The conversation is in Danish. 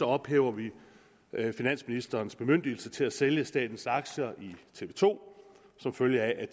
ophæver vi finansministerens bemyndigelse til at sælge statens aktier i tv to som følge af at